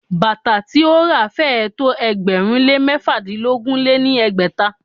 Bàtà tí ó ra féé tó ẹgbẹ̀rún lé mẹ́fàdínogún lé ní ẹgbẹ́ta.